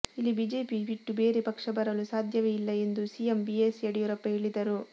ಇಲ್ಲಿ ಬಿಜೆಪಿ ಬಿಟ್ಟು ಬೇರೆ ಪಕ್ಷ ಬರಲು ಸಾಧ್ಯವೇ ಇಲ್ಲ ಎಂದು ಸಿಎಂ ಬಿಎಸ್ ಯಡಿಯೂರಪ್ಪ ಹೇಳಿದರು